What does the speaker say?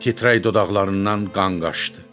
Titrək dodaqlarından qan qaşdı.